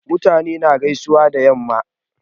Mutane na gaisuwa da yamma